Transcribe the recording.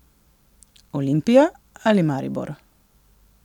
Olimpija ali Maribor?